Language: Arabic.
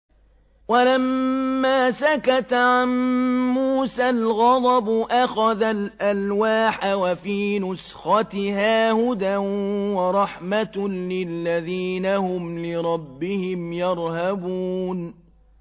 وَلَمَّا سَكَتَ عَن مُّوسَى الْغَضَبُ أَخَذَ الْأَلْوَاحَ ۖ وَفِي نُسْخَتِهَا هُدًى وَرَحْمَةٌ لِّلَّذِينَ هُمْ لِرَبِّهِمْ يَرْهَبُونَ